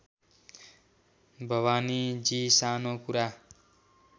भवानीजी सानो कुरा